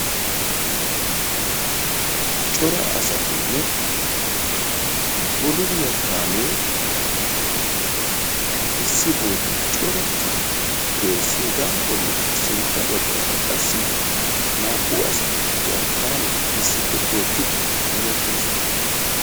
Cora asatinne bululiya kaamee issi bootan corattidi de'ees. Hegaa bollikka sintta baggaara qassi naa"u asati jerkkaaniya issippe tookkiddi hemettoosona.